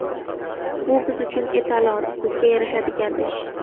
Bu biz uchun etalon, bizga yarashadigan ish.